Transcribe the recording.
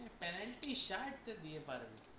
হ্যাঁ penalty shot দিয়ে পারবি।